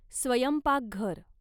स्वयंपाकघर